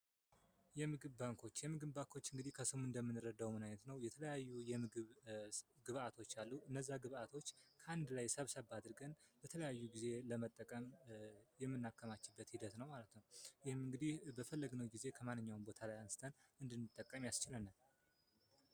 የምግብ ባንኮች የምግብ ባንኮች እንግዲ ከስሙ እንደምንረዳው የተለያዩ ግብዓቶች አሉ እነዚያን ግብዓቶች በአንድ ላይ ሰብሰብ አድርገን የተለያዩ ጊዜ ለመጠቀም የምናከማችበት ሂደት ነው ማለት ነው። ይህም እንግዲህ በፈለግነው ጊዜ ከማንኛውም ቦታ ላይ አንስተን እንድንጠቀም ይረዳናል።